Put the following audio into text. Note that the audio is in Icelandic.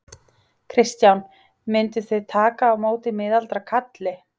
Kristján: Mynduð þið taka á móti miðaldra kalli?